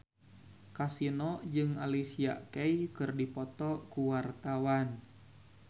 Kasino jeung Alicia Keys keur dipoto ku wartawan